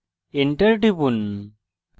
enter টিপুন